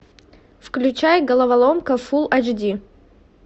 включай головоломка фулл эйч ди